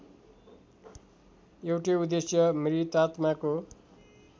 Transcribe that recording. एउटै उद्देश्य मृतात्माको